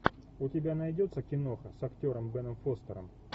у тебя найдется киноха с актером беном фостером